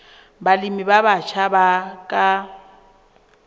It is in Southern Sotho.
balemi ba batjha ba ka